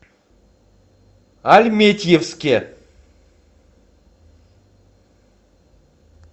альметьевске